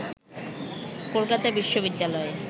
Kolkata বিশবিদ্যালয়ে